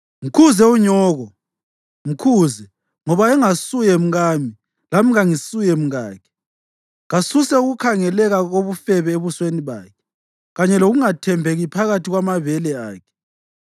“Mkhuze unyoko, mkhuze, ngoba engasuye mkami, lami kangisuye mkakhe. Kasuse ukukhangeleka kobufebe ebusweni bakhe kanye lokungathembeki phakathi kwamabele akhe.